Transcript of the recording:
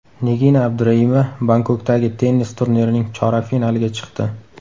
Nigina Abduraimova Bangkokdagi tennis turnirining chorak finaliga chiqdi.